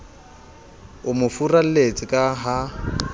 o mo furalletse ka ha